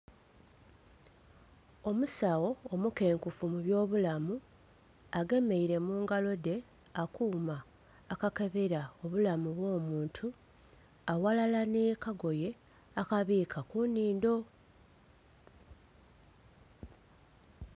Omusawo omukenkufu mu ebyobulamu agemeire mungalo dhe akooma akakebera obulamu obw'omuntu aghalala n'akagoye akaboka kunindo